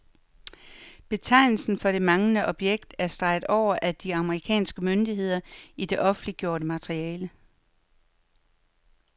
Betegnelsen for det manglende objekt er streget over af de amerikanske myndigheder i det offentliggjorte materiale.